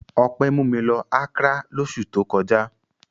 Ọpẹ́ mú mi lọ Accra lóṣù tó kọjá.